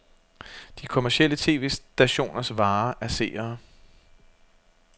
De kommercielle tv-stationers vare er seere.